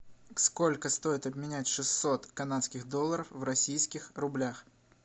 сколько стоит обменять шестьсот канадских долларов в российских рублях